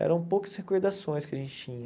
Eram poucas recordações que a gente tinha.